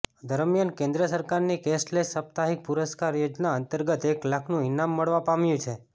દરમિયાન કેન્દ્ર સરકારની કેશલેસ સાપ્તાહિક પુરસ્કાર યોજના અંતર્ગત એક લાખનું ઈનામ મળવા પામ્યું છે